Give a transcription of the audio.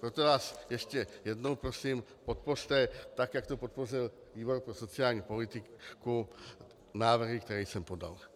Proto vás ještě jednou prosím, podpořte, tak jak to podpořil výbor pro sociální politiku, návrhy, které jsem podal.